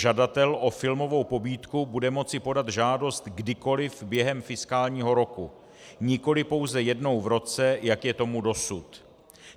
Žadatel o filmovou pobídku bude moci podat žádost kdykoliv během fiskálního roku, nikoli pouze jednou v roce, jak je tomu dosud.